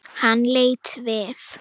Hann leit við.